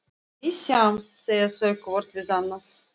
Við sjáumst, segja þau hvort við annað.